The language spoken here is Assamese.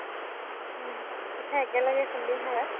উম । পিঠা একেলগে খুন্দিম হা ?